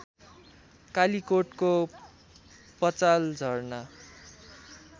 कालीकोटको Pachal Jharna